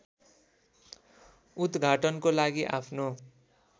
उद्घाटनको लागि आफ्नो